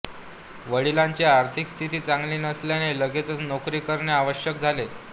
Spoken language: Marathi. वडिलांची आर्थिक स्थिती चांगली नसल्याने लगेचच नोकरी करणे आवश्यक झाले